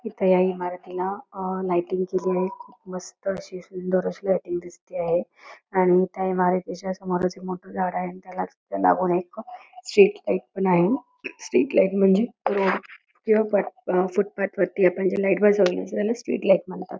इथ या इमारतीला लायटिंग केली आहे मस्त अशी सुंदर अशी लायटिंग दिसतेय आहे आणि त्या इमारतीच्या समोरच एक मोठ झाडं दिसत आहे आणि त्यालाच लागून एक स्ट्रीट लाइट पण आहे स्ट्रीट लाइट म्हणजे रोड किंवा फुट पाथ वरती आपण जे लाइट बसवतो त्यालाच स्ट्रीट लाइट म्हणतात.